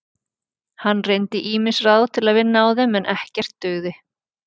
Hann reyndi ýmis ráð til að vinna á þeim en ekkert dugði.